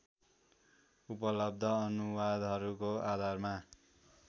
उपलब्ध अनुवादहरूको आधारमा